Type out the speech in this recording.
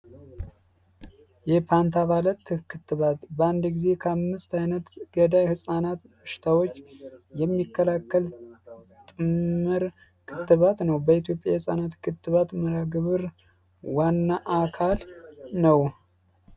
የፓንታ ባለት ክትባት በአንድ ጊዜ ከ5ምስት ዓይነት ገዳይ ሕፃናት እሽታዎች የሚከላከል ጥምር ክትባት ነው በኢትዮ. የሕፃናት ክትባት ምራ ግብር ዋናአካል ነው